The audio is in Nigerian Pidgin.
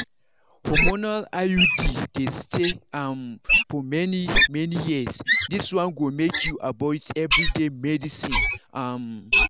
hormonal iud dey stay um for many-many years this one go make you avoid everyday medicines. um